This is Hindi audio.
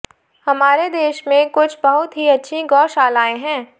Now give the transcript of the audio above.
हमारे देश में कुछ बहुत ही अच्छी गौ शालायें हैं